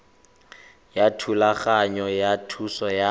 ya thulaganyo ya thuso ya